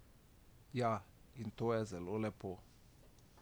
Ja, in to je zelo lepo.